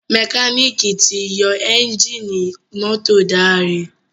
Mẹkáníìkì tí yó Ẹ́ńjìnì mọ́tò Dare.